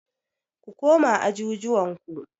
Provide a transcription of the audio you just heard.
Ku koma ajujuwan ku.